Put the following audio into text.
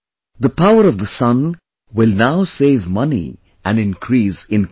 The power of the sun will now save money and increase income